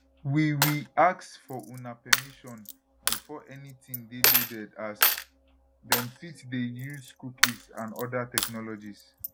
we we ask for una permission before anytin dey loaded as dem fit dey use cookies and oda technologies